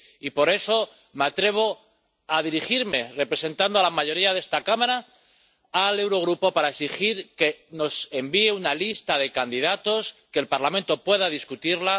Y por eso me atrevo a dirigirme, representando a la mayoría de esta Cámara, al Eurogrupo para exigir que nos envíe una lista de candidatos que el Parlamento pueda discutir